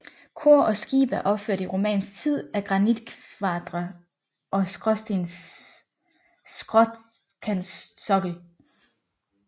Kor og skib er opført i romansk tid af granitkvadre over skråkantsokkel